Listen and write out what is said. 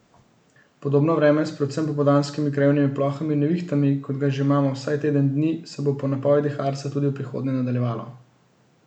Podobno vreme s predvsem popoldanskimi krajevnimi plohami in nevihtami, kot ga imamo že vsaj teden dni, se bo po napovedih Arsa tudi v prihodnje nadaljevalo.